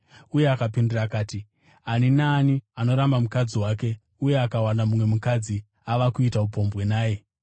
Akapindura akati, “Ani naani anoramba mukadzi wake uye akawana mumwe mukadzi, ava kuita upombwe naye.